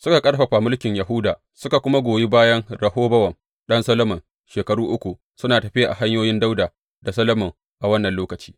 Suka ƙarfafa mulkin Yahuda suka kuma goyi bayan Rehobowam ɗan Solomon shekaru uku, suna tafiya a hanyoyin Dawuda da Solomon a wannan lokaci.